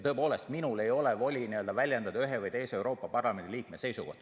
Tõepoolest, minul ei ole voli väljendada ühe või teise Euroopa Parlamendi liikme seisukohti.